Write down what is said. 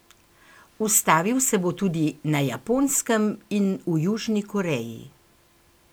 Ustavil se bo tudi na Japonskem in v Južni Koreji.